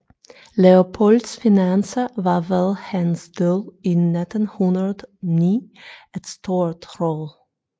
Leopolds finanser var ved hans død i 1909 et stort rod